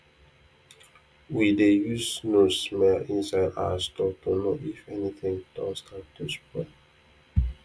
we dey use nose smell inside our store to know if anything don start to spoil